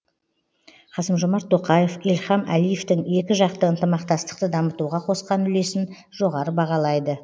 қасым жомарт тоқаев ильхам әлиевтің екіжақты ынтымақтастықты дамытуға қосқан үлесін жоғары бағалайды